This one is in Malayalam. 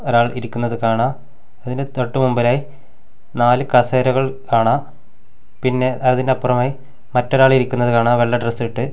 ഒരാൾ ഇരിക്കുന്നത് കാണാം അതിന്റെ തൊട്ട് മുമ്പിലായി നാല് കസേരകൾ കാണാം പിന്നെ അതിനപ്പുറമായി മറ്റൊരാൾ ഇരിക്കുന്നത് കാണാം വെള്ള ഡ്രസ്സിട്ട് .